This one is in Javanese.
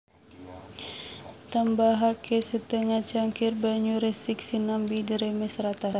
Tambahaké setengah cangkir banyu resik sinambi diremes rata